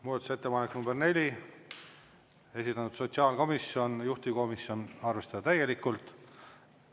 Muudatusettepanek nr 4, esitanud sotsiaalkomisjon, juhtivkomisjon: arvestada täielikult.